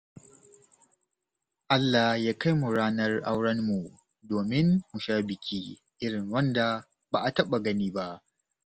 Allah ya kai mu ranar aurenmu domin mu sha biki irin wanda ba a taɓa gani ba.